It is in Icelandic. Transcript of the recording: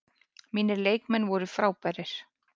Mínir leikmenn voru frábærir.